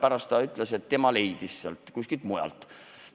Pärast ta ütles, et leidis selle kuskilt mujalt.